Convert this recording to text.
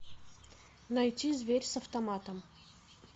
найти зверь с автоматом